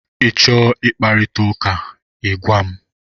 Ị chọọ ị kparịta ụka, ị gwa m!